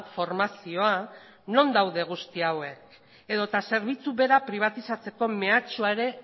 formazioa non daude guzti hauek edota zerbitzu bera pribatizatzeko mehatxua ere